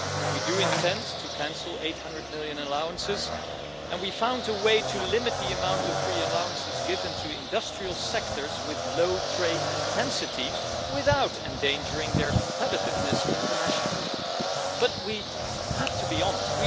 We do intend to cancel 800 million allowances and we found a way to limit the amount of free allowances given to industrial sectors with low trade intensity without endangering their competitiveness internationally. But we have to be honest